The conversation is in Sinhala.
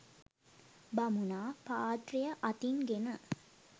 බමුණා පාත්‍රය අතින් ගෙන